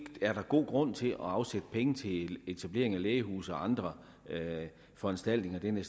er god grund til at afsætte penge til etablering af lægehuse og andre foranstaltninger af den